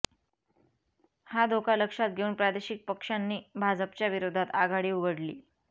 हा धोका लक्षात घेऊन प्रादेशिक पक्षांनी भाजपच्या विरोधात आघाडी उघडली